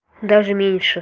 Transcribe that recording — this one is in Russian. даже меньше